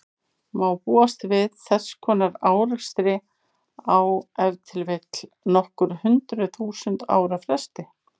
Búast má við þess konar árekstri á ef til vill nokkur hundruð þúsund ára fresti.